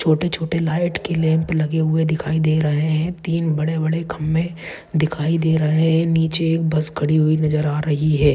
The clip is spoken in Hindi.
छोटे-छोटे लाइट के लैम्प लगे हुए दिखाई दे रहे है तीन बड़े-बड़े खंबे दिखाई दे रहे है नीचे एक बस खड़ी हुई नज़र आ रही है।